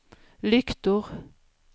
lyktor